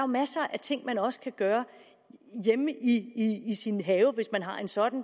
masser af ting man også kan gøre hjemme i sin have hvis man har en sådan